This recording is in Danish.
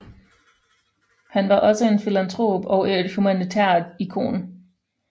Han var også en filantrop og et humanitært ikon